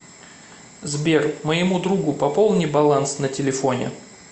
сбер моему другу пополни баланс на телефоне